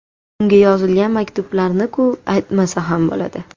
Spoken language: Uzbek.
Unga yozilgan maktublarni-ku aytmasa ham bo‘ladi.